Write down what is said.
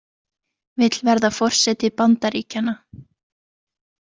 Vill verða forseti Bandaríkjanna